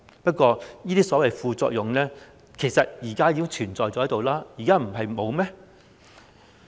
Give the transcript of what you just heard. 不過，這些所謂副作用其實現時已經存在，難道現在沒有嗎？